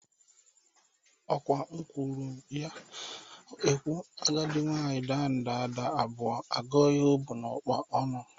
Ọkwa ekwuru m ya ekwu, agadị nwaanyị daa nda ada abụọ, a gụọ ihe o bụ n'ụkpa ọnụ.